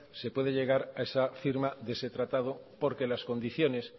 se puede llegar a esa firma de ese tratado porque las condiciones